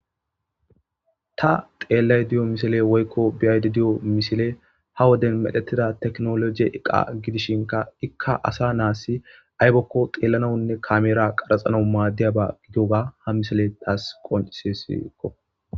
ta xeellay diyo misile woykko biyayde diyo misile ha woden medhetida teknolojie eqa gidishinka ikka asa naasi aybokko xeellanawunne kameera qaraxanau maaddiyaba gitoga ha misile taas qoncisesiikko